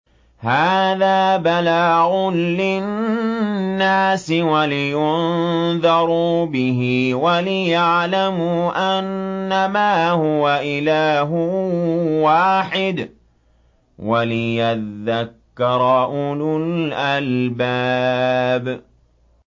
هَٰذَا بَلَاغٌ لِّلنَّاسِ وَلِيُنذَرُوا بِهِ وَلِيَعْلَمُوا أَنَّمَا هُوَ إِلَٰهٌ وَاحِدٌ وَلِيَذَّكَّرَ أُولُو الْأَلْبَابِ